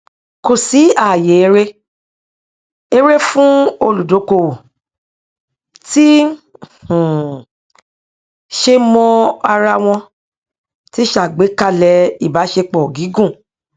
kò sí ààyè eré eré fún olùdókówó tí um ṣe mọ ara wọn tí ṣàgbékalẹ ìbáṣepọ gígùn